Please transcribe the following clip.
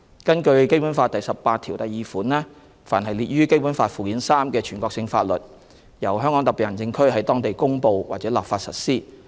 根據《基本法》第十八條第二款，凡列於《基本法》附件三之全國性法律，由香港特別行政區在當地公布或立法實施。